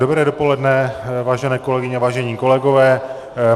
Dobré dopoledne, vážené kolegyně, vážení kolegové.